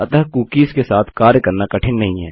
अतः कूकीस के साथ कार्य करना कठिन नहीं है